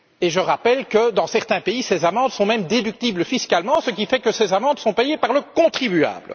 Je rappelle que, dans certains pays, ces amendes sont même déductibles fiscalement, ce qui fait qu'elles sont payées par le contribuable.